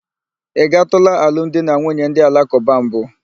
Ị gatụla alụmdinanwunye ndị alakụba mbụ?